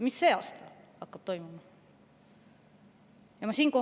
Mis sel aastal hakkab toimuma?